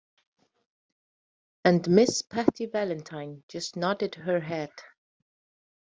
And Miss Patty Valentine just nodded her head.